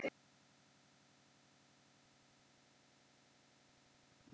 Litaðir steinar munu prýða torgið.